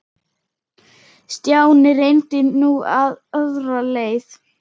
Stjáni reyndi nú aðra leið.